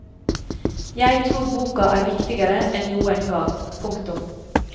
Jeg tror boka er viktigere enn noen gang. punktum